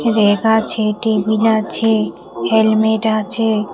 Bag আছে table আছে helmet আছে।